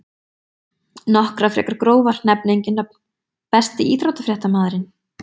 Nokkrar frekar grófar nefni engin nöfn Besti íþróttafréttamaðurinn?